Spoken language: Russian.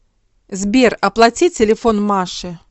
сбер оплати телефон маши